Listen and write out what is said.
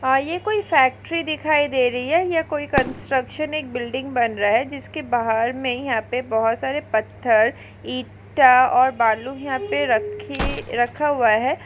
हा ये कोई फ़ैक्टरि दिखाई दे रही है ये कोई कन्स्ट्रकशन एक बिल्डिंग बन रहा है जिसके बाहर मे यहाँ पे बहुत सारे पत्थर ईटा और यहाँ पे रखे रखा हुआ है।